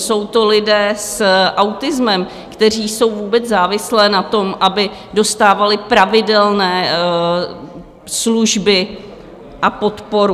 Jsou to lidé s autismem, kteří jsou vůbec závislí na tom, aby dostávali pravidelné služby a podporu.